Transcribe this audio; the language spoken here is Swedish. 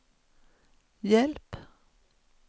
hjälp